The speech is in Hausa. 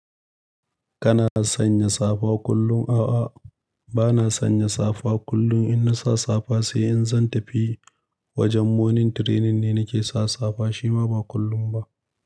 Kana sanya safa kullum? A'a, bana sanya safa kullum. Inna sa safa sai in zan tafi. Wajen morning training ne nake sa safa, shi ma ba kullum ba.